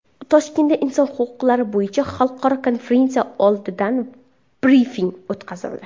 Toshkentda inson huquqlari bo‘yicha xalqaro konferensiya oldidan brifing o‘tkazildi.